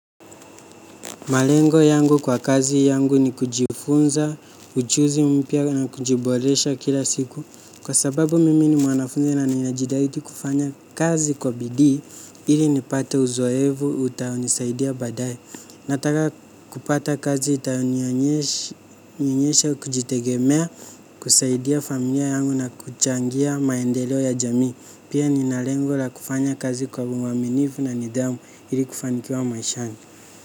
Malengo yangu kwa kazi yangu ni kujifunza, uchuzi mpya na kujiboresha kila siku. Kwa sababu mimi ni mwanafunzi na ninajitahidi kufanya kazi kwa bidii ili nipate uzoefu utaonisaidia baadaye. Nataka kupata kazi itayonionyesha kujitegemea, kusaidia familia yangu na kuchangia maendeleo ya jami. Pia nina lengo la kufanya kazi kwa umwaminifu na nidhamu ili kufanikiwa maishani.